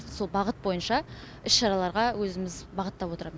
сол бағыт бойынша іс шараларға өзіміз бағыттап отырамыз